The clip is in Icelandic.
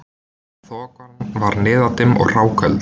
Þokan var niðdimm og hráköld